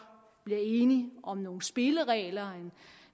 bliver enige om nogle spilleregler